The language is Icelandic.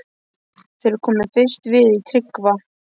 Þeir komu fyrst við í Tryggva